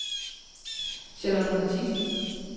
Charlotte Matthiesen